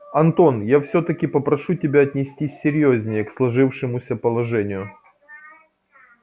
антон я всё-таки попрошу тебя отнестись серьёзнее к сложившемуся положению